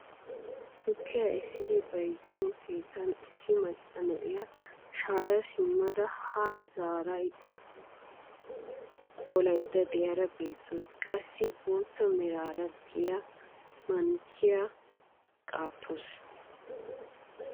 Tukkiyaa essidi bayzziyoo keettan issi macca na'iyaa shaaya simmada haa zaarada qolaydda de'iyaara beettawus. qassi ha bootta meraara de'iyaa mankkiyaan qaattawus.